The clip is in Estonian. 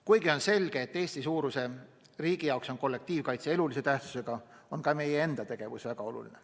Kuigi on selge, et Eesti-suuruse riigi jaoks on kollektiivkaitse elulise tähtsusega, on ka meie enda tegevus väga oluline.